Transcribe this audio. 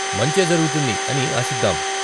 మంచే జరుగుతుంది అని ఆశిద్దాం.